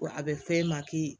Wa a bɛ f'e ma k'i